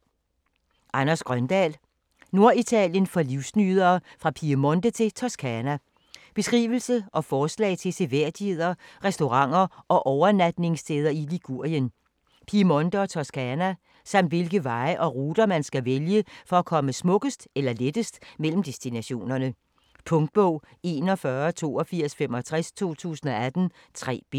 Grøndahl, Anders: Norditalien for livsnydere: fra Piemonte til Toscana Beskrivelse og forslag til seværdigheder, restauranter og overnatningssteder i Ligurien, Piemonte og Toscana. Samt hvilke veje og ruter, man skal vælge for at komme smukkest eller lettest mellem destinationerne. Punktbog 418265 2018. 3 bind.